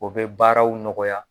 O bɛ baaraw nɔgɔya.